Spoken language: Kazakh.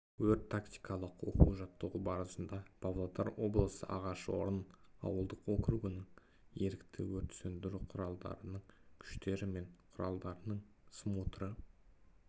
өрт-тактикалық оқу-жаттығу барысында павлодар облысы ағашорын ауылдық округінің ерікті өрт сөндіру құралымдарының күштері мен құралдарының смотры